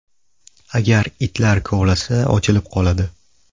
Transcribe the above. Agar itlar kovlasa, ochilib qoladi.